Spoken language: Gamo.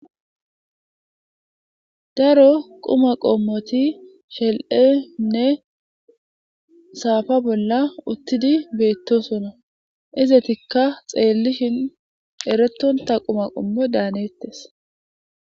daro quma qommoti shel7enne saafa bolla uttidi beettosona izetikka xeellishin eretonta quma qommo daanettes